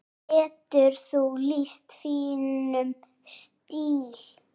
Getur þú lýst þínum stíl?